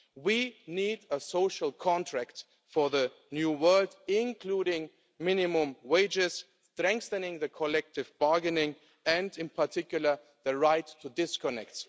We need a social contract for the new world including minimum wages, strengthening collective bargaining and, in particular, the right to disconnect.